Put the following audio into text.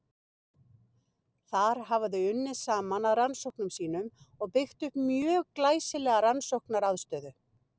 Þar hafa þau unnið saman að rannsóknum sínum og byggt upp mjög glæsilega rannsóknaraðstöðu.